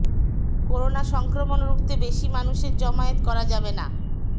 corona সংক্রমণ রুখতে বেশি মানুষের জমায়েত করা যাবে না